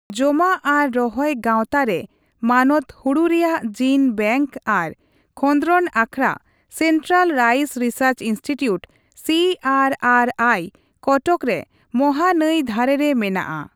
ᱡᱚᱢᱟᱜ ᱟᱨ ᱨᱚᱦᱚᱭ ᱜᱟᱣᱛᱟ ᱨᱮ ᱢᱟᱱᱚᱛ ᱦᱚᱲᱩ ᱨᱮᱭᱟᱜ ᱡᱤᱱ ᱵᱮᱝᱠ ᱟᱨ ᱠᱷᱚᱸᱫᱽᱨᱚᱫᱽ ᱟᱠᱷᱲᱟ Central Rice Research Institute (C ᱹ ᱟᱨ ᱹ ᱟᱨ ᱹ ᱟᱭ) ᱠᱚᱴᱚᱠ ᱫᱚ ᱢᱟᱦᱟᱱᱟᱹᱭ ᱫᱷᱟᱹᱨᱮᱨᱮ ᱢᱮᱱᱟᱜᱼᱟ ᱾